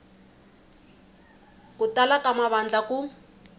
ku tala ka mavandla ku